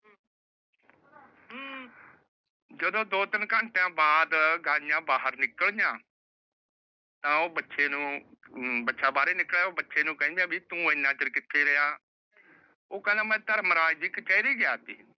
ਜਦੋ ਦੋ ਤਿੰਨ ਘੰਟਿਆਂ ਬਾਅਦ ਗਾਯੀਆਂ ਬਾਹਰ ਨਿਕਲੀਆਂ। ਤਾਂ ਉਹ ਬਛੇ ਨੂੰ ਬਾਛੈ ਬਾਹਰ ਨਿਕਲ ਆਇਆ ਓ ਬਛੇ ਨੂੰ ਕਹਿੰਦੇ ਆ ਵੀ ਤੂੰ ਏਨਾ ਚਿਰ ਕਿੱਥੇ ਰਿਹਾ। ਉਹ ਕਹਿੰਦਾ ਮੈ ਧਰਮਰਾਜ ਦੀ ਕਚਹਿਰੀ ਗਿਆ ਸੀ।